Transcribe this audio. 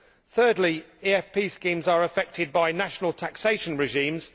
Thirdly, EFP schemes are affected by national taxation regimes.